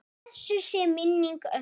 Blessuð sé minning ömmu.